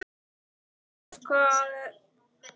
Marargötu